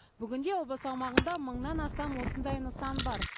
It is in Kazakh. бүгінде облыс аумағында мыңнан астам осындай нысан бар